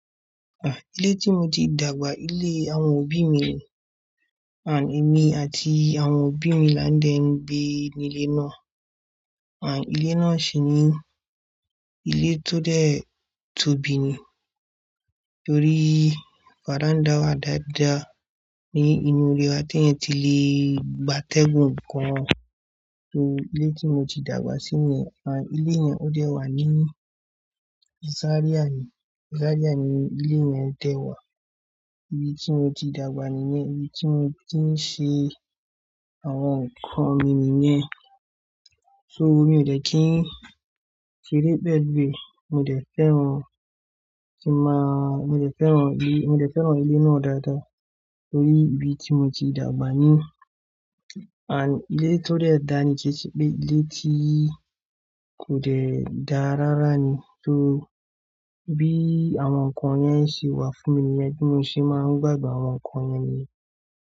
Ah, ilé tí mo ti dàgbà, ilé àwọn òbí mi. Ah, èmi àti àwọn òbí mi là ń dẹ́ gbé nílé náà. Ah, ilé náà sì ni ilé tó dẹ̀ tóbi ni. Torí fàdán dáwà dáadáa ní inú ilé wa tí èyí ti lè gba tègun nǹkan. Torí ilé tí mo ti dàgbà sí ni. Ah, ilé yẹn ó dẹ̀ wà ní Zaria ni, Zaria ni ilé yẹn dẹ̀ wà. Ibi tí mo ti dàgbà nìyẹn, ibi tí mo ti ń ṣe àwọn nǹkan mi nìyẹn. So mi ò dẹ̀ kí n ṣeré pẹ́lu ẹ̀, mo dẹ̀ fẹ́ran-- kí ma-- mo dẹ̀ fẹ́ran ilé, mo dẹ̀ fẹ́ran ilé náà dáadáa torí ibi tí mo ti dàgbà ni. Abd, ilé tó dẹ̀ dá ni kẹ́ṣẹ́ pẹ ilé tí kò dẹ̀ dá rárá ni. So bí àwọn nǹkan yẹn ṣe wà fún mi níyẹ́n bí mo ṣe máa ń gbàdun àwọn nǹkan yẹn nìyẹn.